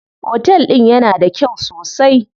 Otel din yana da kyau sosai.